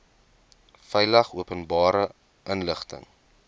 veilig openbare inligting